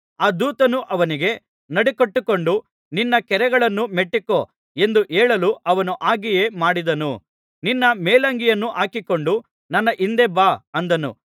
ಆ ದೂತನು ಅವನಿಗೆ ನಡುಕಟ್ಟಿಕೊಂಡು ನಿನ್ನ ಕೆರಗಳನ್ನು ಮೆಟ್ಟಿಕೋ ಎಂದು ಹೇಳಲು ಅವನು ಹಾಗೆಯೇ ಮಾಡಿದನು ನಿನ್ನ ಮೇಲಂಗಿಯನ್ನು ಹಾಕಿಕೊಂಡು ನನ್ನ ಹಿಂದೆ ಬಾ ಅಂದನು